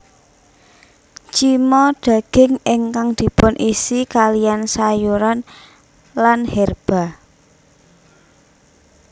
Cima daging ingkang dipunisi kaliyan sayuran lan herba